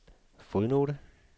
fodnote